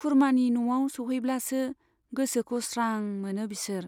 खुरमानि न'आव सौहैब्लासो गोसोखौ स्रां मोनो बिसोर।